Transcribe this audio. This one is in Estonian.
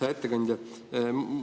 Hea ettekandja!